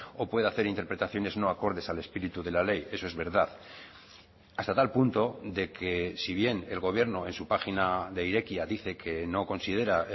o puede hacer interpretaciones no acordes al espíritu de la ley eso es verdad hasta tal punto de que si bien el gobierno en su página de irekia dice que no considera